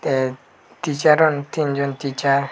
tey ticharun tinjon tichar .